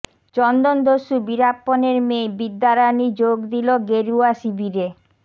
চন্দন দস্যু বীরাপ্পানের মেয়ে বিদ্যা রানী যোগ দিল গেরুয়া শিবিরে